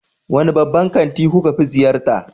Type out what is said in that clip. Wane babban kanti kuka fi ziyarta?